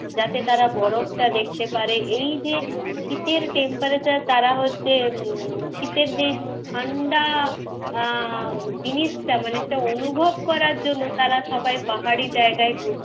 যাতে তারা বরফটা দেখতে পারে। এই যে শীতের temperature তারা হচ্ছে উম শীতের যেই ঠাণ্ডা আহ জিনিসটা মানে যেটা অনুভব করার জন্যে তারা সবাই পাহাড়ি জায়গায় ঘুরতে,